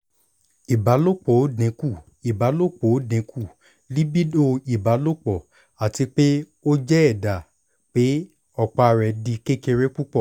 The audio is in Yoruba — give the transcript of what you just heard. ibalopo o dinku ibalopo o dinku libido ibalopo ati pe o jẹ ẹda pe ọpa rẹ di kekere pupọ